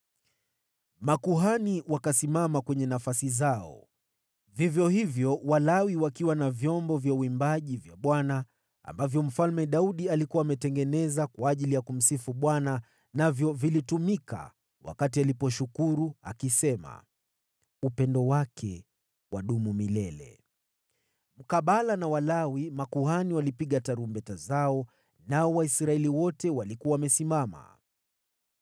Makuhani wakasimama kwenye nafasi zao, vivyo hivyo Walawi wakiwa na vyombo vya uimbaji vya Bwana ambavyo Mfalme Daudi alikuwa ametengeneza kwa ajili ya kumsifu Bwana , navyo vilitumika wakati aliposhukuru, akisema, “Upendo wake wadumu milele.” Mkabala na Walawi, makuhani walipiga tarumbeta zao, nao Waisraeli wote walikuwa wamesimama.